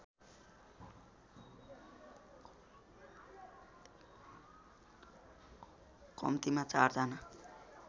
कम्तीमा चार जना